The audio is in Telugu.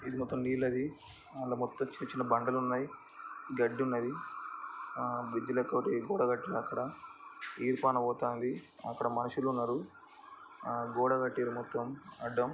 ఇది మొత్తం నీళ్ళది అల్ల మొత్తం చిన చిన్న బండలున్నయ్ గడ్డి ఉన్నది ఆ బ్రిడ్జ్ లెక్కోటి గోడ కట్టిర్రు అక్కడఈర్పెన పోతాందిఅక్కడ మనుషులున్నరు ఆ గోడ కట్టిర్రు మొత్తం అడ్డం.